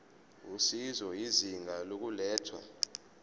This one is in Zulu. usizo izinga lokulethwa